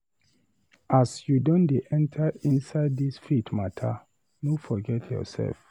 As you don dey enta inside dis faith mata, no forget yoursef.